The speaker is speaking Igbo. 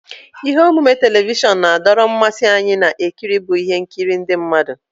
Ihe omume telivishọn na-adọrọ mmasị anyị na-ekiri bụ ihe nkiri ndị mmadụ.